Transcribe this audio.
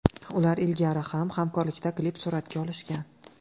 Ular ilgari ham hamkorlikda klip suratga olishgan.